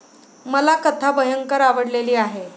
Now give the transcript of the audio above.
मला कथा भयंकर आवडलेली आहे.